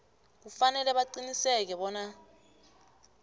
kufanele baqinisekise bona